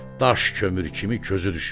Daş kömür kimi közü düşür.